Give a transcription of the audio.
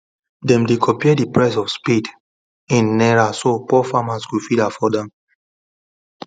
them dey compare the prices of spade in naira so poor farmers go fit afford am